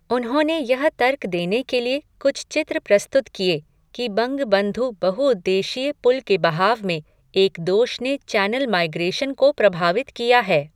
उन्होंने यह तर्क देने के लिए कुछ चित्र प्रस्तुत किए कि बंगबंधु बहु उद्देशीय पुल के बहाव में एक दोष ने चैनल माइग्रेशन को प्रभावित किया है।